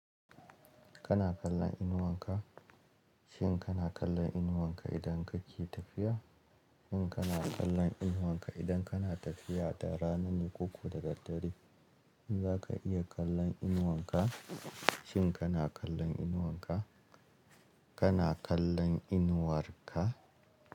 Kana kallon inuwanka? Shin kana kallon inuwanka idan kake tafiya? In kana kallon inuwanka idan kana tafiya da rana ne ko ko da daddare? In za ka iya kallon inuwanka, shin kana kallon inuwanka? Kana kallon inuwarka?